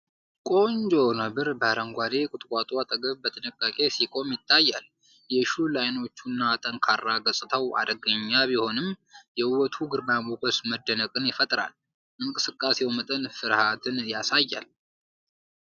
ቆንጆ ነብር በአረንጓዴ ቁጥቋጦ አጠገብ በጥንቃቄ ሲቆም ይታያል። የሹል ዓይኖቹ እና ጠንካራ ገጽታው አደገኛ ቢሆንም፣ የውበቱ ግርማ ሞገስ መደነቅን ይፈጥራል። የእንቅስቃሴው መጠን ፍርሃትን ያሳያል።